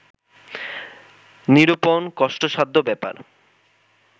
নিরূপণ কষ্টসাধ্য ব্যাপার